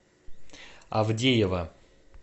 авдеева